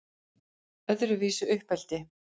Öðruvísi uppeldi